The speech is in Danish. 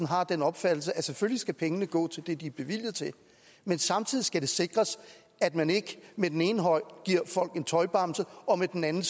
har den opfattelse at selvfølgelig skal pengene gå til det de er bevilget til men samtidig skal det sikres at man ikke med den ene hånd giver folk en tøjbamse og med den anden